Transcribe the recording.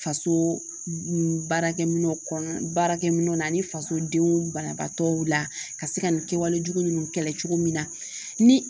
Faso baarakɛminɛnw baarakɛminɛnw ni faso denw banabaatɔw la ka se ka nin kɛwalejugu nunnu kɛlɛ cogo min na ni